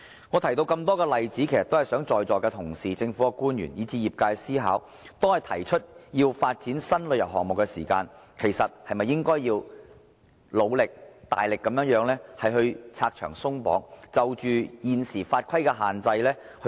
我提出眾多例子，希望在座同事、政府官員，以至業界思考，當我們提出要發展新旅遊項目時，其實是不是應該努力拆牆鬆綁，檢討現時法規的限制？